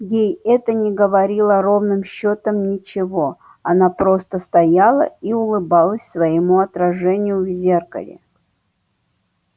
ей это не говорило ровным счётом ничего она просто стояла и улыбалась своему отражению в зеркале